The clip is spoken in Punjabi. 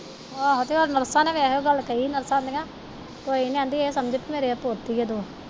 ਆਹੋ ਤੇ ਹੋਰ ਨਰਸਾਂ ਨੇ ਵੀ ਇਹੋ ਗੱਲ ਕਹੀ, ਨਰਸਾਂ ਕਹਿੰਦੀਆ ਕੋਈ ਨੀ ਇਹ ਸਮਝ ਕਿ ਮੇਰੀ ਪੋਤੀ ਐ ਤੂੰ।